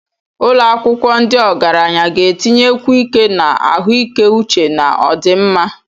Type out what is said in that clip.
Ụlọ akwụkwọ ndị ogaranya ga-etinyekwu ike na ahụike uche na ọdịmma.